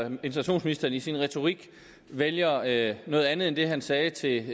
integrationsministeren i sin retorik vælger at noget andet end det han sagde til